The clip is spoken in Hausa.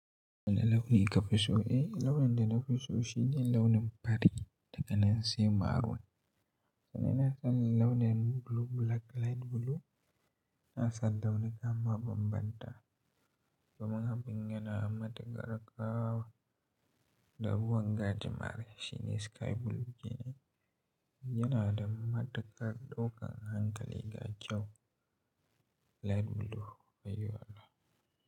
Wane launi kafi so? Eh, launin da nafi so shine launin fari daganan sai maroon. Sannan ina son launin blue, black, light blue. Ina san launi nan ba bambanta. Kuma abin yana matukar ƙara ƙawa. Da ruwan gadi mare shi ne sky blue shine yana da matukar ɗaukan hankali ga kyau. Light blue ayi wala.